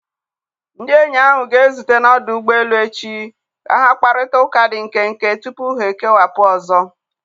Ndị enyi ahụ ga-ezute n'ọdụ ụgbọ elu echi ka ha kparịta ụka dị nkenke tupu ha ekewapụ ụzọ.